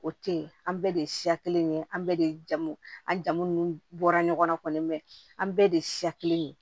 O tɛ yen an bɛɛ de ye siya kelen ye an bɛɛ de ye jamu an jamu n bɔra ɲɔgɔn bɛɛ an bɛɛ de ye siya kelen ye